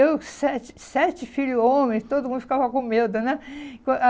Eu, sete sete filhos homens, todo mundo ficava com medo, né?